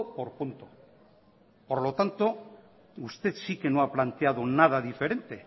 por punto por lo tanto usted sí que no ha planteado nada diferente